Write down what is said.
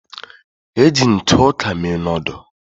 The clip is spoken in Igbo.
Eji ntụ ọka mee noodul.